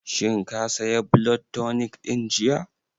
Shin ka saya blood tonic ɗin jiya?